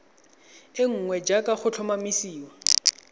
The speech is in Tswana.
e nngwe jaaka go tlhomamisiwa